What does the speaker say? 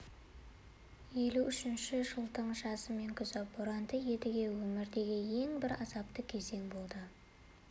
елу үшінші жылдың жазы мен күзі боранды едіге өміріндегі ең бір азапты кезең болды